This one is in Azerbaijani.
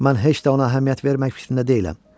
Mən heç də ona əhəmiyyət vermək fikrində deyiləm.